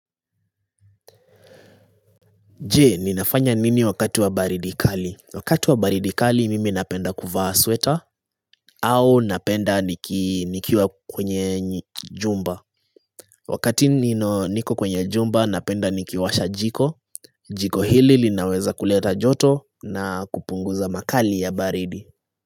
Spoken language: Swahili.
Je, ninafanya nini wakati wa baridi kali? Wakati wa baridi kali mimi napenda kuvaa sweater au napenda nikiwa kwenye jumba Wakati niko kwenye jumba napenda nikiwasha jiko. Jiko hili linaweza kuleta joto na kupunguza makali ya baridi.